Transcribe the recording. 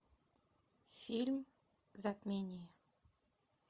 фильм затмение